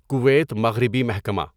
Kuwait مغربی محکمہ